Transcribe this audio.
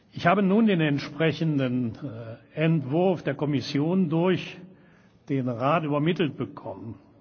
Ich habe nun den entsprechenden Entwurf der Kommission durch den Rat übermittelt bekommen.